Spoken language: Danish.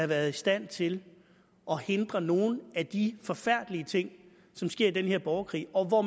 været i stand til at hindre nogle af de forfærdelige ting som sker i den her borgerkrig og hvor